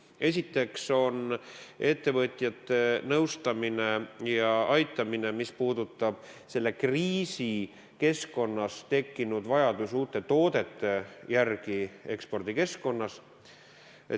Esiteks, ettevõtjate nõustamine ja aitamine, mis puudutab selles kriisikeskkonnas tekkinud vajadust uute toodete järele ekspordikeskkonnas.